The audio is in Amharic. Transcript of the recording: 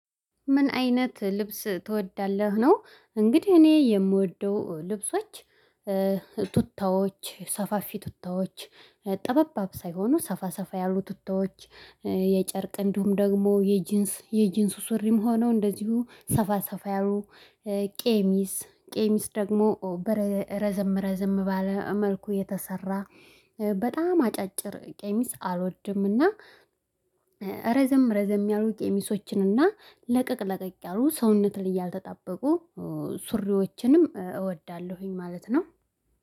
ምን አይነት ልብስ ትወዳለህ ነው? እንግዲህ እኔ የምወደው ልብሶች ቱታዎች ሰፋፊ ቱታዎች ጠባብ ሳይሆኑ ሰፋ ሰፋ ያሉ ቱታዎች። የጨርቅ እንዲሁም ደግሞ የጂንስ የጂንሱ ሱሪም ሆነው እንደዚሁ ሰፋ ሰፋ ያሉ። ቀሚስ ቀሚስ ደግሞ በረዘም ረዘም ባለ መልኩ የተሰራ በጣም አጫጭር ቀሚስ አልወድምና። ረዘም ረዘም ያሉ ቀሚሶችንና ለቀቅ ለቀቅ ያሉ ሰውነትን እያልተጣበቁ ሱሪዎችንም እወዳለሁኝ ማለት ነው።